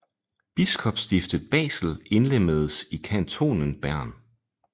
Biskopsstiftet Basel indlemmedes i kantonen Bern